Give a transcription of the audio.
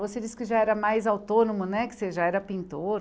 Você disse que já era mais autônomo né, que você já era pintor